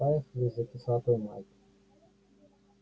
поехали за кислотой майк